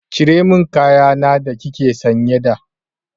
Cire min kaya na da kike sanye da!